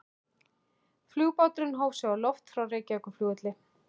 Flugbáturinn hóf sig á loft frá Reykjavíkurflugvelli.